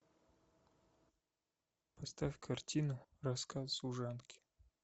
поставь картину рассказ служанки